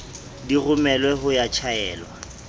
di romelwe ho ya tjhaelwa